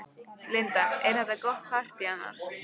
Linda: Er þetta gott partý annars?